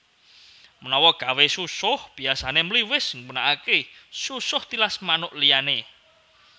Menawa gawé susuh biyasane mliwis gunakake susuh tilas manuk liyane